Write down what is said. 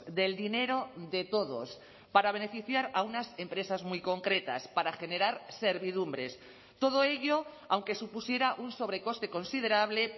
del dinero de todos para beneficiar a unas empresas muy concretas para generar servidumbres todo ello aunque supusiera un sobrecoste considerable